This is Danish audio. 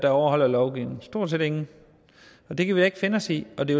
overholder lovgivningen stort set ingen og det kan vi da ikke finde os i og det